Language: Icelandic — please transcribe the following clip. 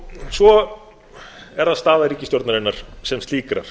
svo er það staða ríkisstjórnarinnar sem slíkrar